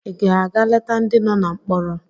Ị ga-aga leta ndị nọ na mkpọrọ?